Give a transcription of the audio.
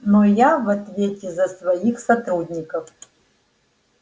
но я в ответе за своих сотрудников